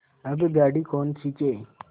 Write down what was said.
अब गाड़ी कौन खींचे